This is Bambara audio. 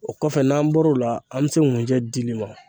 O kɔfɛ n'an bɔr'o la an bɛ se ŋunjɛ dili ma.